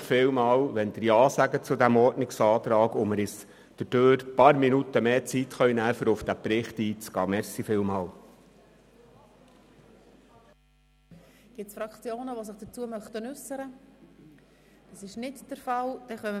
Ich danke Ihnen für die Unterstützung meines Ordnungsantrags, wodurch wir uns einige Minuten mehr Zeit nehmen können, um auf diesen Bericht einzugehen.